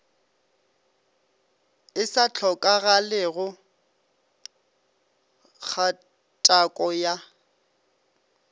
e sa hlokagalego kgatako ya